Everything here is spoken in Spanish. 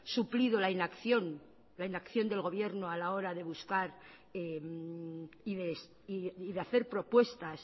suplido la inacción la inacción del gobierno a la hora de buscar y de hacer propuestas